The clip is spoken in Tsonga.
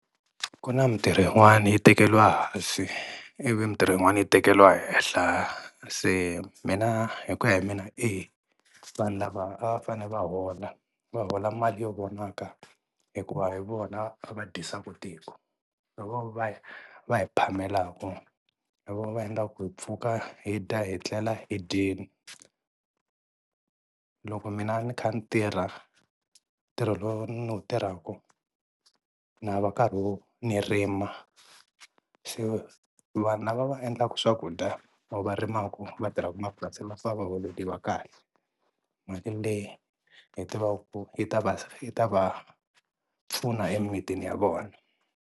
Ku na mintirho yin'wani yi tekeriwa ehansi ivi mintirho yin'wana yi tekeriwa henhla se mina hi ku ya hi mina e, vanhu lava a va fanele va hola va hola mali yo vonaka hikuva hi vona va dyisaka tiko. Hi vona va va hi phamelaka hi vona va endlaka ku hi pfuka hi dya hi tlela hi dyini. Loko mina ni kha ni tirha ntirho lowu ni wu tirhaka na va karhi ni rima, so vanhu lava va endlaka swakudya or varimaku va tirhaka mapurasini va fane va holeliwa kahle mali leyi hi tivaku ku yi ta va ta va pfuna emimitini ya vona.